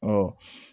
Ɔ